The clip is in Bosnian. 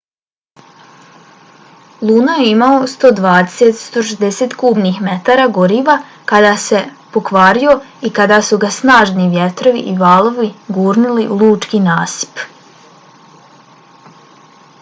luno je imao 120-160 kubnih metara goriva kada se pokvario i kada su ga snažni vjetrovi i valovi gurnuli na lučki nasip